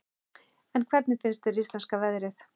En hvernig finnst þér íslenska veðrið?